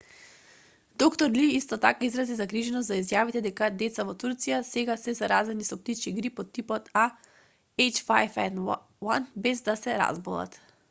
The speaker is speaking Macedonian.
д-р ли исто така изрази загриженост за изјавите дека деца во турција сега се заразени со птичји грип од типот ah5n1 без да се разболат